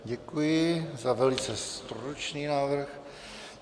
Děkuji za velice stručný návrh.